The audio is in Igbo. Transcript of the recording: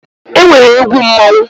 E nwere egwu mmọnwụ.